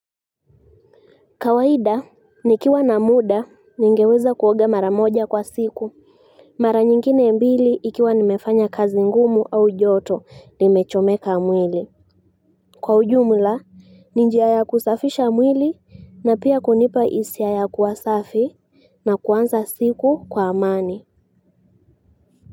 Kawaida, nikiwa na muda, ningeweza kuoga mara moja kwa siku. Mara nyingine mbili ikiwa nimefanya kazi ngumu au joto, nimechomeka mwili. Kwa ujumla, ninjia ya kusafisha mwili, na pia kunipa hisia ya kuwasafi, na kuanza siku kwa amani.